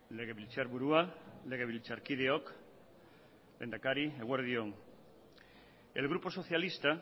legebiltzarburua legebiltzarkideok lehendakari eguerdion el grupo socialista